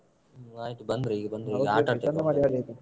ಆಯ್ತು ಬಂದ್ರು ಈಗ ಬಂದ್ರು ಈಗ ಆಟ ಆಡ್ತಾ ಇದ್ದಾರೆ.